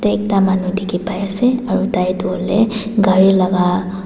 yete ekta manu dikhipai ase aro tai toh hoilae gari laka--